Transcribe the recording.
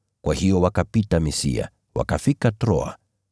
Kwa hiyo wakapita Misia, wakafika Troa.